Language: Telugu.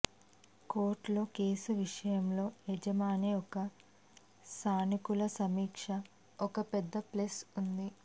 కోర్టులో కేసు విషయంలో యజమాని ఒక సానుకూల సమీక్ష ఒక పెద్ద ప్లస్ ఉంది